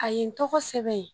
A ye n tɔgɔ sɛbɛn yen